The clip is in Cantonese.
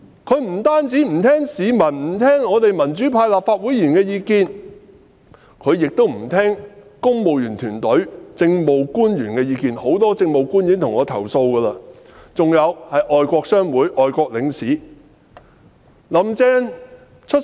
她不單不聆聽市民、民主派立法會議員的意見，亦不聆聽公務員團隊、政務官員的意見，很多政務官也曾向我投訴這點，就是外國商會和外國領使的意見，她也不聆聽。